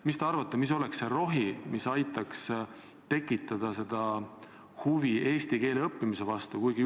Mis te arvate, mis oleks see rohi, mis aitaks tekitada huvi eesti keele õppimise vastu?